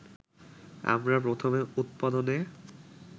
আমরা প্রথমে উৎপাদনে